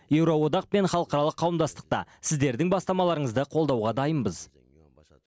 еуроодақ пен халықаралық қауымдастықта сіздердің бастамаларыңызды қолдауға дайынбыз